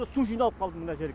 су жиналып қалды мына жерге